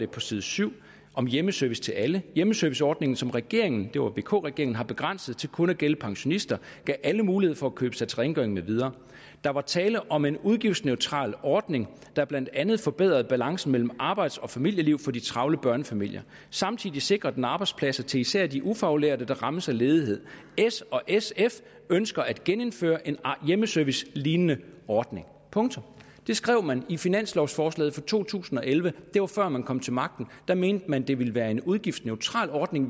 på side syv om hjemmeservice til alle hjemmeserviceordningen som regeringen det var vk regeringen har begrænset til kun at gælde pensionister gav alle mulighed for at købe sig til rengøring med videre der var tale om en udgiftsneutral ordning der blandt andet forbedrede balancen mellem arbejds og familieliv for de travle børnefamilier samtidig sikrer den arbejdspladser til især de ufaglærte der rammes af ledighed s og sf ønsker at genindføre en hjemmeservicelignende ordning punktum det skrev man i sit finanslovforslag for to tusind og elleve det var før man kom til magten da mente man at det ville være en udgiftsneutral ordning